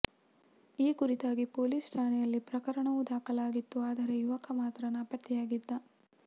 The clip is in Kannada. ಈ ಕುರಿತಾಗಿ ಪೊಲೀಸ್ ಠಾಣೆಯಲ್ಲಿ ಪ್ರಕರಣವೂ ದಾಖಲಾಗಿತ್ತು ಆದರೆ ಯುವಕ ಮಾತ್ರ ನಾಪತ್ತೆಯಾಗಿದ್ದ